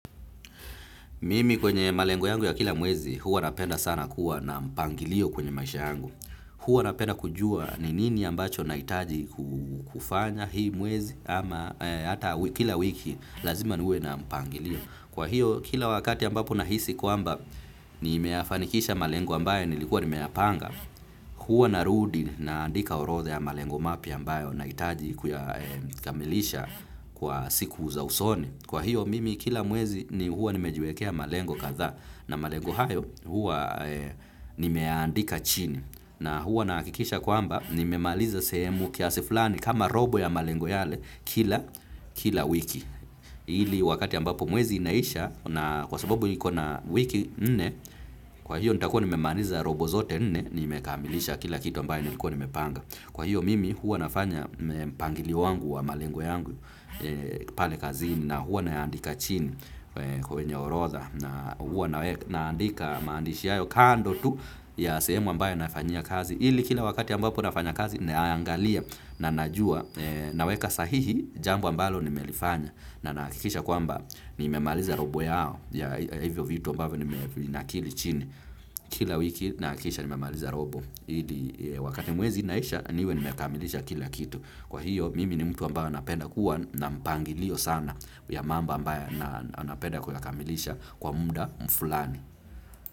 Mimi kwenye malengo yangu ya kila mwezi, huwa napenda sana kuwa na mpangilio kwenye maisha yangu. Huwa napenda kujua ni nini ambacho nahitaji kufanya hii mwezi ama hata kila wiki lazima niwe na mpangilio. Kwa hiyo, kila wakati ambapo nahisi kwamba nimeyafanikisha malengo ambaye nilikuwa nimeyapanga, huwa narudi na andika orotha ya malengo mapya ambayo nahitaji kuyakamilisha kwa siku za usoni. Kwa hiyo mimi kila mwezi ni huwa nimejiwekea malengo katha na malengo hayo huwa nimeyaandika chini na huwa nahakikisha kwamba nimemaliza sehemu kiasi fulani kama robo ya malengo yale kila kila wiki. Ili wakati ambapo mwezi inaisha na kwa sababu iko na wiki nne kwa hiyo nitakuwa nimemaliza robo zote nne nimekamilisha kila kitu ambaye nilikuwa nimepanga. Kwa hiyo mimi huwa nafanya mpangilio wangu wa malengo yangu pale kazini na huwa nayaandika chini kwenye orotha na huwa naandika maandishi hayo kando tu ya sehemu ambayo nafanyia kazi. Ili kila wakati ambapo nafanya kazi nayaangalia na najua naweka sahihi jambo ambalo nimelifanya na nahakikisha kwamba nimemaliza robo yao ya hivyo vitu ambavyo nimevinakili chini kila wiki nahakikisha nimemaliza robo. Ili wakati mwezi inaisha niwe nimekamilisha kila kitu. Kwa hiyo mimi ni mtu ambayo napenda kuwa na mpangilio sana ya mambo ambayo napenda kuyakamilisha kwa muda mfulani.